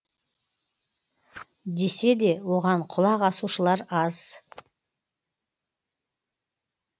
десе де оған құлақ асушылар аз